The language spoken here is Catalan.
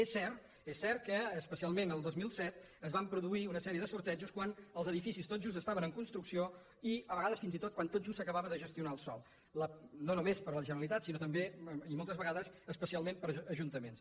és cert és cert que especialment el dos mil set es van produir una sèrie de sortejos quan els edificis tot just estaven en construcció i a vegades fins i tot quan tot just s’acabava de gestionar el sòl no només per la generalitat sinó també i moltes vegades especialment per ajuntaments